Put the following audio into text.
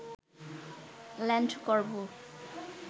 land করব